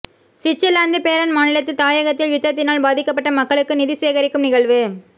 Switzerland Bern மாநிலத்தில் தாயகத்தில் யுத்தத்தினால் பாதிக்கப்பட்ட மக்களுக்கு நிதிசேகரிக்கும் நிகழ்வு